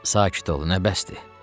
Sakit ol, nə bəsdir!